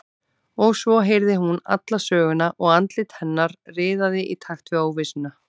Og svo heyrði hún alla söguna og andlit hennar riðaði í takt við óvissuna.